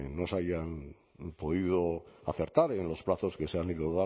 no se hayan podido acertar en los plazos que se han ido